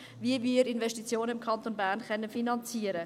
Wie können wir im Kanton Bern Investitionen finanzieren?